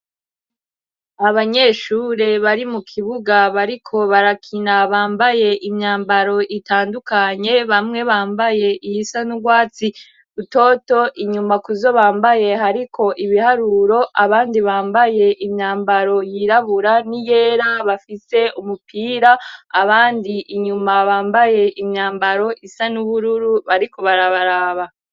Abanyeshure bari mu kibuga bariko barakina bambaye imyambaro itandukanye, bamwe bambaye iyisa n' urwatsi utoto, inyuma kuzo bambaye hariko ibiharuro, abandi bambaye imyambaro yirabura n' iyera bafise umupira, Abandi inyuma bambaye imyambaro isa n'ubururu bariko barabaraba.